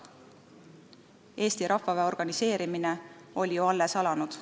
Eesti rahvaväe organiseerimine oli ju alles alanud.